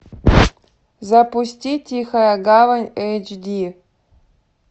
запусти тихая гавань эйч ди